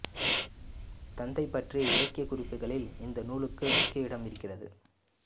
தந்தை பற்றிய இலக்கியக்குறிப்புகளில் இந்நூலுக்கும் முக்கிய இடம் இருக்கிறது